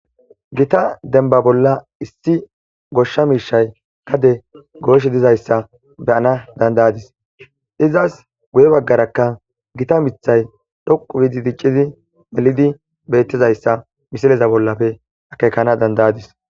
Gita denba bolla issi goshsha miishay kade gooshe dizayssa beyana dandayadis izas guye baggarakka gita mithay dhoqu biidi diccizi melidi bettizayssa misileza bollafe akekana dandayadis.